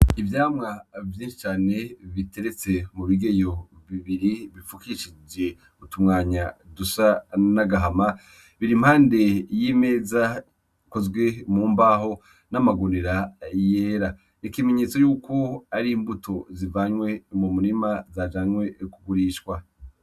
Ivyamwa vyinshi cane biteretse mu bigeyo bibiri bipfukishije utumwanya dusa n'agahama biri impande y'imeza ikozwe mu mbaho n'amagunira yera ikimenyetso yuko ari imbuto zivanywe mu murima zajanywe yokugurishwa.